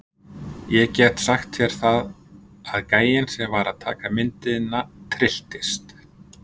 Og ég get sagt þér það að gæinn sem var að taka myndina trylltist.